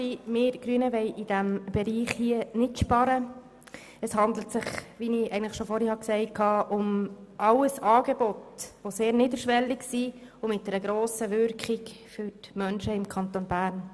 Wie ich eigentlich bereits vorhin erwähnt habe, handelt es sich um sehr niederschwellige Angebote, welche für die Menschen im Kanton Bern eine grosse Wirkung entfalten.